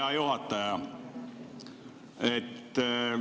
Hea juhataja!